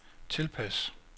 tilpas